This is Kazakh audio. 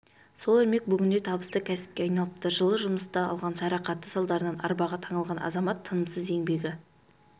сол ермек бүгінде табысты кәсіпке айналыпты жылы жұмыста алған жарақаты салдарынан арбаға таңылған азамат тынымсыз еңбегі